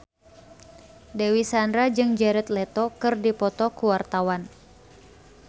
Dewi Sandra jeung Jared Leto keur dipoto ku wartawan